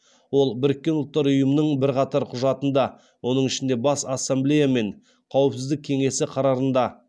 ол біріккен ұлттар ұйымының бірқатар құжатында оның ішінде бас ассамблея мен қауіпсіздік кеңесі қарарында